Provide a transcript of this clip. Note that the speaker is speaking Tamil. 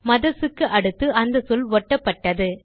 மதர்ஸ் க்கு அடுத்து அந்த சொல் ஒட்டப்பட்டது